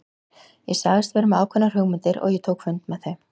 Ég sagðist vera með ákveðnar hugmyndir og ég tók fund með þeim.